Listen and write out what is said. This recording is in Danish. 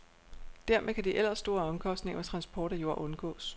Dermed kan de ellers store omkostninger ved transport af jord undgås.